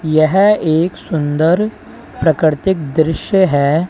यह एक सुंदर प्राकृतिक दृश्य।